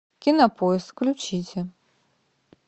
кинопоиск включите